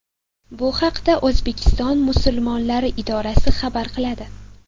Bu haqda O‘zbekiston musulmonlari idorasi xabar qiladi .